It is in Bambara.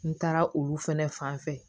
N taara olu fɛnɛ fanfɛ